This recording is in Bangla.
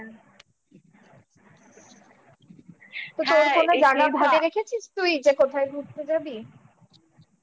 তুই কি ভেবেছিস কোথায় ঘুরতে যাবি?